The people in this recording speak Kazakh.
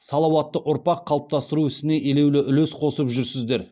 салауатты ұрпақ қалыптастыру ісіне елеулі үлес қосып жүрсіздер